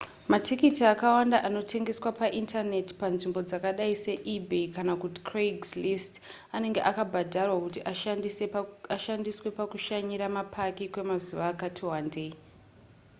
matikiti akawanda anotengeswa paindaneti panzvimbo dzakadai seebay kana kuti craigslist anenge akabhadharwa kuti ashandiswe pakushanyira mapaki kwemazuva akati wandei